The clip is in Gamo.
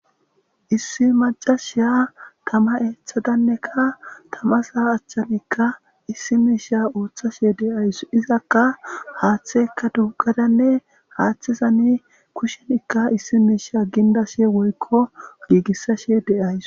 issi macashiya tama eeththadannekka tamasaa achchanikka issi miisha ooththashe de7ays izakka haaththekka duggadanne haaththizani kushenikka issi miisha gindashe woykko giigissashe de'ysu